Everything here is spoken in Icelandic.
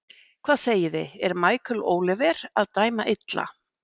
Hvað segiði, er Michael Oliver að dæma illa?